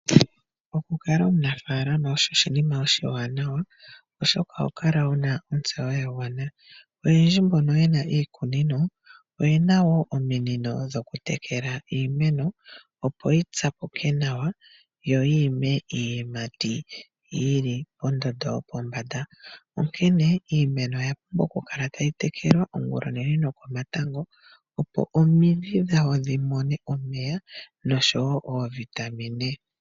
Okukala omunafaalama osho oshinima oshiwanawa, oshoka oho kala wuna ontseyo yagwana. Oyendji mbono yena iikunino, oyena wo ominino dhokutekela iimeno, opo yi tsapuke nawa, yo yi ime iiyimati yili pondondo yopombanda. Onkene iimeno oya pumbwa okukala tayi tekelwa ongula onene nokomatango, opo omidhi dhawo dhimone omeya, noshowo oovitamine.